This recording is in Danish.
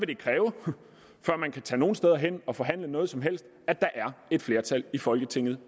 det kræve før man kan tage nogen steder hen og forhandle noget som helst at der er et flertal i folketinget